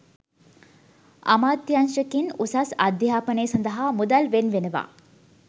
අමාත්‍යාංශ කින් උසස් අධ්‍යාපනය සඳහා මුදල් වෙන් වෙනවා.